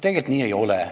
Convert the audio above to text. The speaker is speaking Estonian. Tegelikult nii ei ole.